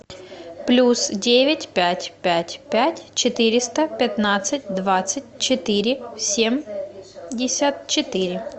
плюс девять пять пять пять четыреста пятнадцать двадцать четыре семьдесят четыре